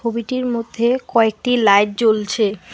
ছবিটির মধ্যে কয়েকটি লাইট জ্বলছে।